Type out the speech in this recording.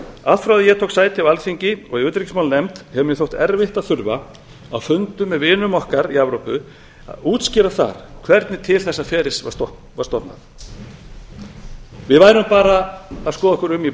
allt frá því að ég tók sæti á alþingi og í utanríkismálanefnd hefur mér þótt erfitt að þurfa á fundum með vinum okkar í evrópu að útskýra það hvernig til þessa ferils var stofnað við værum bara að skoða okkur um í